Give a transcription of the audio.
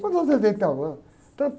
Quanto tempo você tem com o Itaú? Ah, tanto